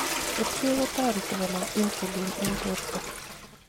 Kerichek kotareti konam insulin eng borto